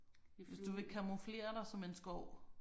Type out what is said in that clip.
Hvis du vil camouflere dig som en skov